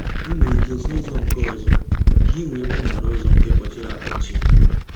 I nwere ike si ụzọ nke ọzọ ka ị wee gbanarị ụzọ nke mkpọchiri akpọchi